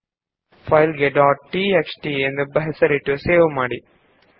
file ನ್ನು numbers dot TXT ಎಂದು ಹೆಸರಿಸಿ ಸೇವ್ ಮಾಡಿ